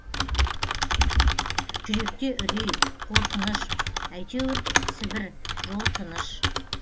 жүректе үрей қорқыныш әйтеуір сібір жол тыныш